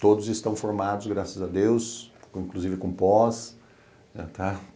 Todos estão formados, graças a Deus, inclusive com pós, tá?